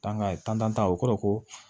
tantan o kɔrɔ ko